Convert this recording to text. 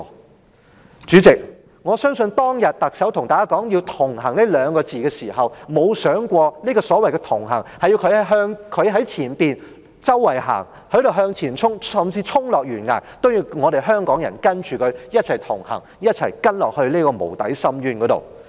代理主席，我相信特首當天對大家說"同行"這二字的時候，她沒有想過所謂的"同行"，是她走在前方向前衝，甚至衝落懸崖，也要香港人跟隨她一起同行，跟她走向無底深淵。